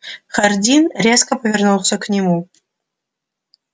хардин резко повернулся к нему